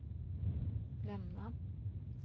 lämna